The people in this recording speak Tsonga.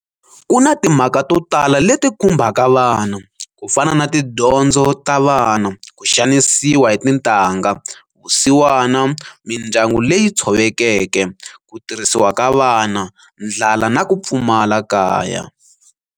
Kuna timhaka to tala leti khumbaka vana, kufana na tidyondzo ta vana, kuxanisiwa hi tintangha, vusiwana, mindyangu leyi tshovekeke, kutirhisiwa ka vana, ndlala na kupfumala kaya.